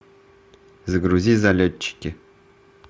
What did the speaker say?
загрузи залетчики